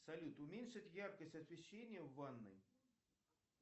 салют уменьшить яркость освещения в ванной